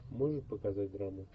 можешь показать драму